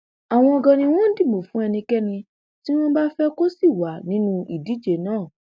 àwọn ganan ni wọn ń dìbò fún ẹnikẹni tí wọn bá fẹ kó sì wà nínú ìdíje náà